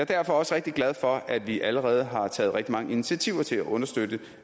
derfor også rigtig glad for at vi allerede har taget rigtig mange initiativer til at understøtte